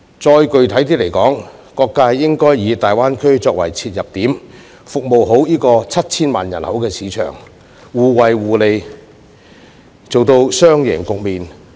更具體而言，各界應該以大灣區作為切入點，服務好這個有 7,000 萬人口的市場，互惠互利，做到雙贏的局面。